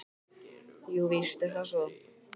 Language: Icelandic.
Jú, víst er það svo.